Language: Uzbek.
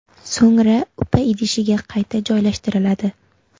So‘ngra upa idishiga qayta joylashtiriladi.